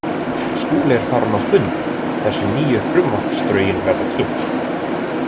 Skúli er farinn á fund þar sem nýju frumvarpsdrögin verða kynnt.